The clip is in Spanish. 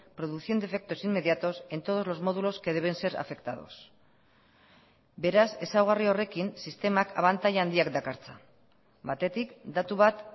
produciendo efectos inmediatos en todos los módulos que deben ser afectados beraz ezaugarri horrekin sistemak abantaila handiak dakartza batetik datu bat